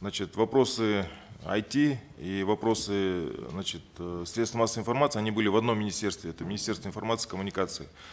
значит вопросы айти и вопросы значит э средств массовой информации они были в одном министерстве это министерство информации и коммуникации